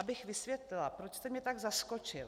Abych vysvětlila, proč jste mě tak zaskočil.